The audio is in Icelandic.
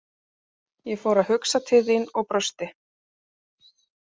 Ég fór að hugsa til þín og brosti.